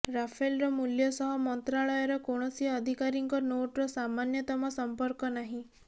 ରାଫେଲର ମୂଲ୍ୟ ସହ ମନ୍ତ୍ରାଳୟର କୌଣସି ଅଧିକାରୀଙ୍କ ନୋଟ୍ର ସାମାନ୍ୟତମ ସଂପର୍କ ନାହିଁ